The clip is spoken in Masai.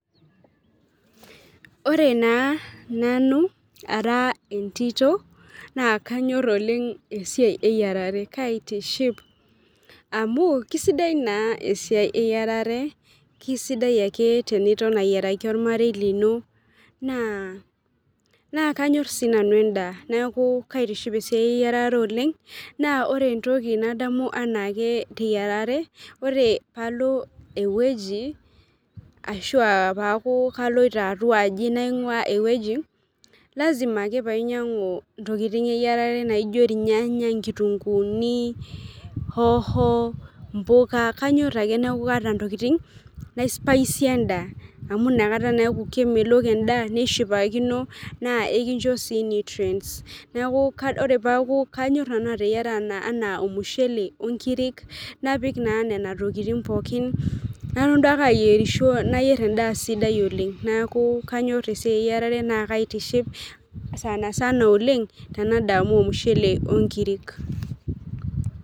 Ore naa nanu ara entito, naa kanyor oleng esiai eyierare. Kaitiship amuu kisidai naa esiai eyierare, kisidai ake teniton ayieraki ormarei lino naa kanyorr si nanu edaa. Neeku kaitiship esiai eyiarare oleng' naa ore entoki nadamu anaake teyiarare ore, palo eweji ashua peeku kaloito atuaji nang'ua eweji lazima ake painyang'u intokitin eyierare naijo irnyanya, inkitunkuni, hoho, kanyor ake neeku kaata ntokitin naispaisie edaa amu inakataa naa eku kemelok edaa nishamu neshipakino naa ikincho si ninche nutrients , neeku ore peeku , kanyor nanu ateiyaraa anaa ormushele oo nkirik napik naa nena tokitin pookin nalo aiyierisho aiyer eda sidai oleng'. Neeku Kanyor esiai iyierare naa kaitiship sanasana oleng tanadamu ormushele onkirik.